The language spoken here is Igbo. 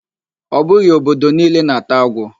Ọ bụghị obodo niile na-ata agwo